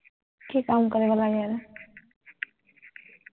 কি কাম কৰিব লাগে আৰু